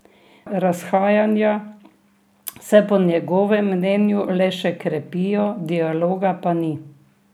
Razhajanja se po njegovem mnenju le še krepijo, dialoga pa ni.